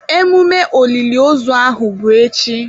Emume oliliozu ahụ bụ echi.